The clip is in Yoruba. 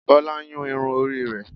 bola n Yún irún ori re